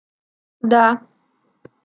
да